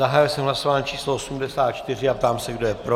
Zahájil jsem hlasování číslo 84 a ptám se, kdo je pro.